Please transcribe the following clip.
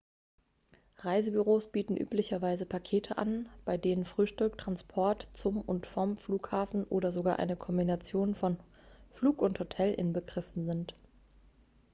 reisebüros bieten üblicherweise pakete an bei denen frühstück transport zum und vom flughafen oder sogar eine kombination von flug und hotel inbegriffen sind